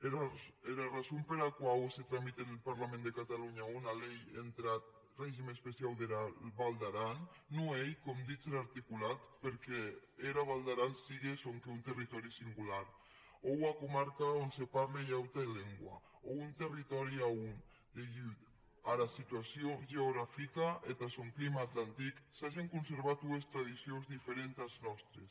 era arrason pera quau se tramite en parlament de catalonha ua lei entath règim especiau dera val d’aran non ei com ditz er articulat pr’amor qu’era val d’aran sigue sonque un territòri singular o ua comarca a on se parle ua auta lengua o un territòri a on degut ara situacion geografica e ath sòn clima atlantic s’agen conservat ues tradicions diferentes as nòstes